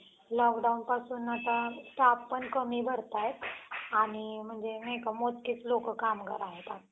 lockdown पासून आता staff कमी भारतायेत. आणि नाही का म्हणजे मोजकेच लोकं कामगार आहेत.